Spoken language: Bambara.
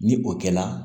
Ni o kɛla